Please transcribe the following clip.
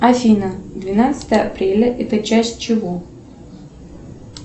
афина двенадцатое апреля это часть чего